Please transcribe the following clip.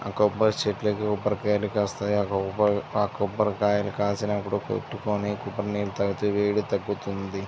కొబరిచెట్లు అనో పడిపోయాయి కాస్త అలా ఆ కొబరికాయలు కాసిన కొట్టుకొని కొబ్బరినీళ్లు దాగితే వెడి తగ్గుతుంది.